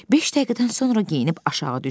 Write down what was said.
Beş dəqiqədən sonra geyinib aşağı düşdü.